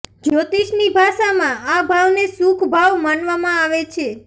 જ્યોતિષની ભાષામાં આ ભાવને સુખ ભાવ માનવામાં આવે છે